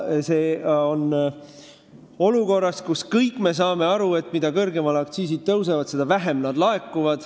See toimub olukorras, kus kõik me saame aru, et mida kõrgemale aktsiisid tõusevad, seda vähem neid laekub.